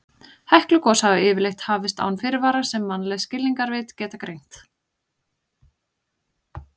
Heklugos hafa yfirleitt hafist án fyrirvara sem mannleg skilningarvit geta greint.